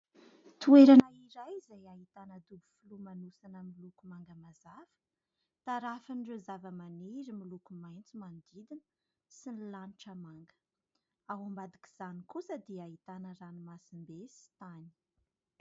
Toerana iray izay ahitana dobo filomanosana miloko manga mazava tarafin'ireo zava-maniry miloko maitso manodidina sy ny lanitra manga ao ambadik'izany kosa dia ahitana ranomasimbe sy tany